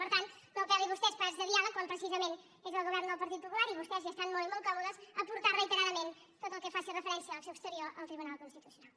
per tant no apel·lin vostès a espais de diàleg quan precisament és el govern del partit popular i vostès hi estan molt i molt còmodes a portar reiteradament tot el que faci referència a l’acció exterior al tribunal constitucional